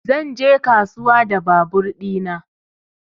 Zan je kasuwa da babur ɗina